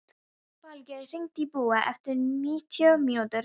Falgeir, hringdu í Búa eftir níutíu mínútur.